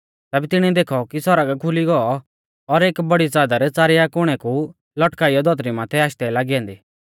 तैबै तिणीऐ देखौ कि सौरग खुली गौ और एक बौड़ी च़ादर च़ारिया कुणै कु लटकाइयौ धौतरी माथै आशदै लागी ऐन्दी